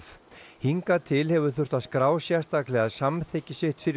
hingað til hefur þurft að skrá sérstaklega samþykki sitt fyrir